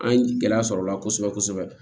An ye gɛlɛya sɔrɔ o la kosɛbɛ kosɛbɛ